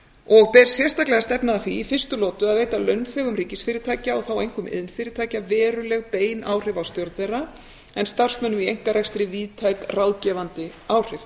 og ber sérstaklega að stefna að því í fyrstu lotu að veita launþegum ríkisfyrirtækja og þá einkum iðnfyrirtækja veruleg bein áhrif á stjórn þeirra en starfsmönnum í einkarekstri víðtæk ráðgefandi áhrif